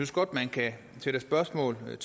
godt man kan sætte spørgsmålstegn